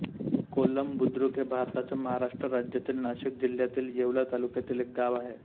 कोलम बुद्रुक हे भारताच्या महाराष्ट्र राज्यातील नाशिक जिल्ह्यातील येवला तालुक्यातील एक गाव आहे